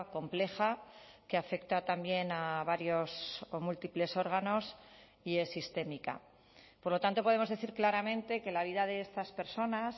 compleja que afecta también a varios o múltiples órganos y es sistémica por lo tanto podemos decir claramente que la vida de estas personas